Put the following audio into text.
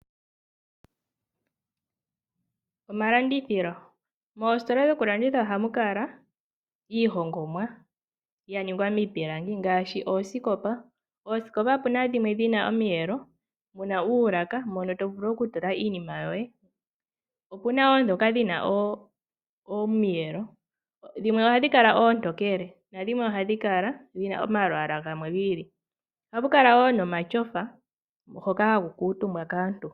Omalandithilo, mositola yokulanditha ohamu kala iihongomwa ya ningwa miipilangi ngaashi oosikopa, oosikopa opu na dhimwe dhina omiyelo dhina uulaka moka to vulu okutula iinima yoye, opu na wo dhoka dhina omiyelo, dhimwe ohadhi kala oontokele nadhimwe ohadhi kala dhina omalwaala gamwe giili, ohamu kala wo momatyofa hoka haku kutumbwa kaantu.